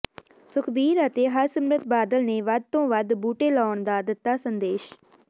ਸੁਖਬੀਰ ਅਤੇ ਹਰਸਿਮਰਤ ਬਾਦਲ ਨੇ ਵੱਧ ਤੋਂ ਵੱਧ ਬੂਟੇ ਲਾਉਣ ਦਾ ਦਿੱਤਾ ਸੰਦੇਸ਼